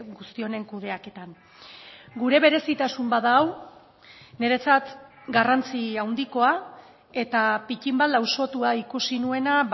guzti honen kudeaketan gure berezitasun bat da hau niretzat garrantzi handikoa eta pittin bat lausotua ikusi nuena